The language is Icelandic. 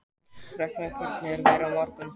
Ragnhildur, hvernig er veðrið á morgun?